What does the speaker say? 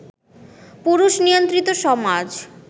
পুরুষ-নিয়ন্ত্রিত সমাজ